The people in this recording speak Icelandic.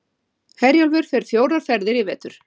Herjólfur fer fjórar ferðir í vetur